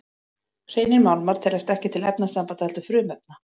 Hreinir málmar teljast ekki til efnasambanda heldur frumefna.